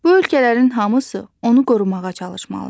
Bu ölkələrin hamısı onu qorumağa çalışmalıdır.